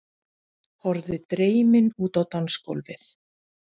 Horfði dreymin út á dansgólfið.